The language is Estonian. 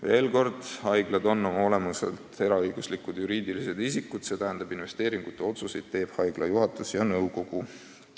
Veel kord, haiglad on oma olemuselt eraõiguslikud juriidilised isikud ja investeeringute otsuseid teevad haigla juhatus ja nõukogu.